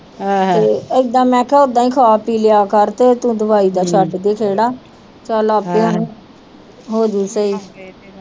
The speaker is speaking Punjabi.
ਤੇ ਏਦਾਂ ਮੈ ਕਿਹਾ ਓਦਾਂ ਈ ਖਾ ਪੀ ਲਿਆ ਕਰ ਤੇ ਤੂੰ ਦਵਾਈ ਦਾ ਛੱਡ ਦੇ ਖਹਿਰਾ ਚਲ ਆਪੇ ਹੋਜੂ ਸਹੀ।